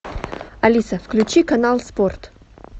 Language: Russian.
алиса включи канал спорт